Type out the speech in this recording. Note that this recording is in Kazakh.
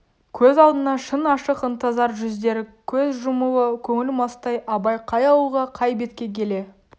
көз алдына шын ашық ынтызар жүздері көз жұмулы көңіл мастай абай қай ауылға қай бетке келе